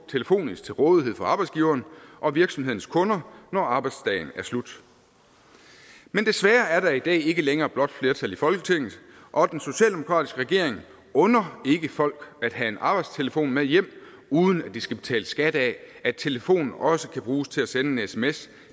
telefonisk til rådighed for arbejdsgiveren og virksomhedens kunder når arbejdsdagen er slut men desværre er der i dag ikke længere blåt flertal i folketinget og den socialdemokratiske regering under ikke folk at have en arbejdstelefon med hjem uden at de skal betale skat af at telefonen også kan bruges til at sende en sms